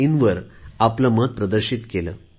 in वर आपले मत प्रदर्शित केले